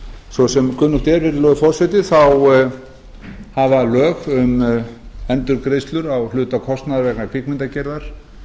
svo sem kunnugt er virðulegi forseti þá hafa lög um endurgreiðslur á hluta kostnaðar vegna kvikmyndagerðar